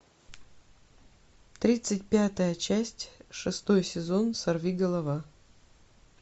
тридцать пятая часть шестой сезон сорвиголова